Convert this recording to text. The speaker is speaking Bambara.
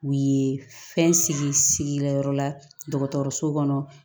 U ye fɛn sigi sigi ka yɔrɔ la dɔgɔtɔrɔso kɔnɔ